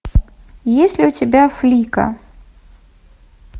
есть ли у тебя флика